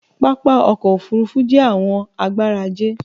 Pápá ọkọ̀ òfurufú jé àwọn agbára ajé